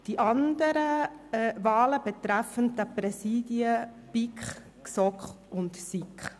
Die anderen Wahlen betreffen die Präsidien von BiK, GSoK und SiK: